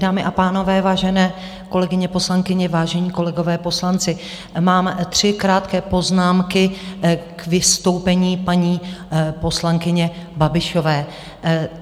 Dámy a pánové, vážené kolegyně poslankyně, vážení kolegové poslanci, mám tři krátké poznámky k vystoupení paní poslankyně Babišové.